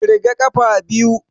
Ƙirga ƙafa biyu